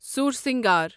سورسنگار